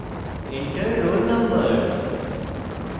enter roll no: